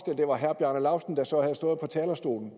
det var herre bjarne laustsen der så havde stået på talerstolen